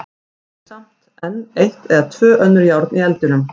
Við eigum samt enn eitt eða tvö önnur járn í eldinum.